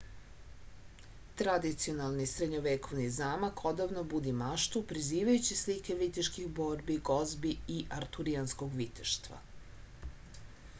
tradicionalni srednjovekovni zamak odavno budi maštu prizivajući slike viteških borbi gozbi i arturijanskog viteštva